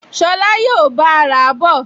Ṣọlá yóò bá a rà á bọ̀